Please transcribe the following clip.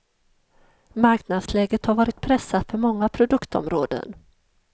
Marknadsläget har varit pressat för många produktområden.